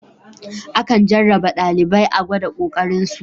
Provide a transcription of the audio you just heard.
Akan jarraba ɗalibai a gwada ƙoƙarin su.